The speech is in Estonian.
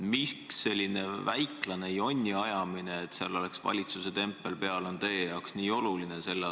Miks selline väiklane jonniajamine, et seal oleks valitsuse tempel peal, on teie jaoks nii oluline?